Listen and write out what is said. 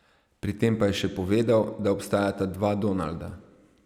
Pri tem pa je še povedal, da obstajata dva Donalda.